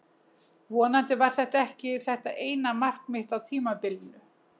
Vonandi var þetta ekki þetta eina mark mitt á tímabilinu.